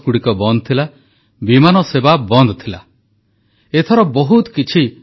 ଆୟୁଷ୍ମାନ ଭାରତ ଯୋଜନା ଅଧିନରେ ଗରିବଙ୍କୁ ମାଗଣା ଚିକିତ୍ସା ସୁବିଧା ଏକ କୋଟି ଟପିଲା ଆୟୁଷ୍ମାନ ଭାରତ ହିତାଧିକାରୀଙ୍କ ସଂଖ୍ୟା